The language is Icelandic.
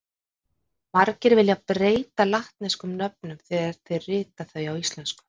Margir vilja breyta latneskum nöfnum þegar þeir rita þau á íslensku.